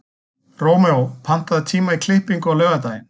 Rómeó, pantaðu tíma í klippingu á laugardaginn.